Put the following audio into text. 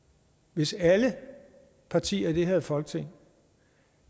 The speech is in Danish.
hvis alle partier i det her folketing